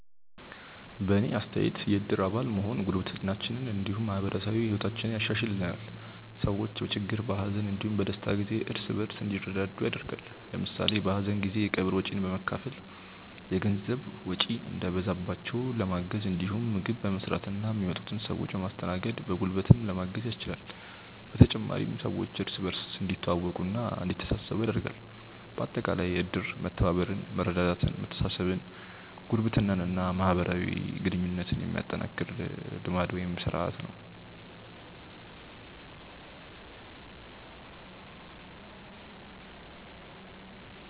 በእኔ አስተያየት የእድር አባል መሆን ጉርብትናችንን እንዲሁም ማህበራዊ ህይወታችንን ያሻሻሽልልናል። ሰዎች በችግር፣ በሀዘን እንዲሁም በደስታ ጊዜ እርስ በእርስ እንዲረዳዱ ያደርጋል። ለምሳሌ በሀዘን ጊዜ የቀብር ወጪን በመካፈል የገንዘብ ወጪ እንዳይበዛባቸው ለማገዝ እንዲሁም ምግብ በመስራትና የሚመጡትን ሰዎች በማስተናገድ በጉልበትም ለማገዝ ያስችላል። በተጨማሪም ሰዎች እርስ በእርስ እንዲተዋወቁና እንዲተሳሰቡ ያደርጋል። በአጠቃላይ እድር መተባበርን፣ መረዳዳትን፣ መተሳሰብን፣ ጉርብትናን እና ማህበራዊ ግንኙነትን የሚያጠናክር ልማድ (ስርአት) ነው።